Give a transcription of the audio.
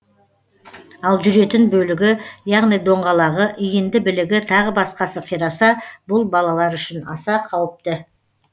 ал жүретін бөлігі яғни доңғалағы иінді білігі тағы басқасы қираса бұл балалар үшін аса қауіпті